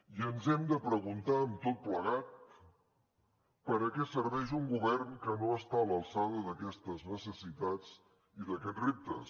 i ens hem de preguntar amb tot plegat per a què serveix un govern que no està a l’alçada d’aquestes necessitats i d’aquests reptes